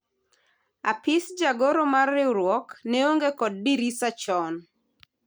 Apis jagoro mar riwruok ne onge kod dirisa chon